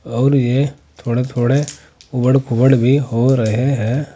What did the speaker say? और ये थोड़े थोड़े ऊबड़ खूबड़ भी हो रहे हैं।